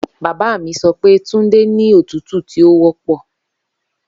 Baba mi sọ pe tunde ni otutu ti o wọpọ.